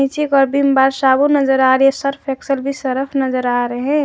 नीचे की ओर विंबर साबुन नजर आ रही है सर्फ़ एक्सल भी सरफ नजर आ रहे है।